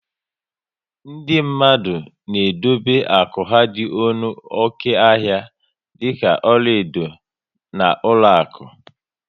Ndị mmadụ na edobe akụ ha dị ọnụ oké ahịa dịka ọlaedo na ụlọakụ